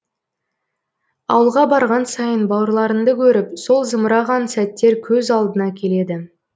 ауылға барған сайын бауырларыңды көріп сол зымыраған сәттер көз алдыңа келеді